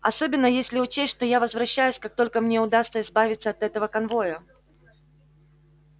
особенно если учесть что я возвращаюсь как только мне удастся избавиться от этого конвоя